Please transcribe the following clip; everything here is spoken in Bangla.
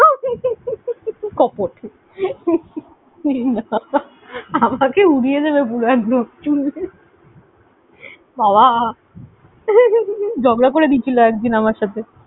কপট আমাকে উড়িয়ে দেবে পুরো একদম শুনলে বাবা ঝগড়া করে দিয়েছিল একদিন আমার সঙ্গে।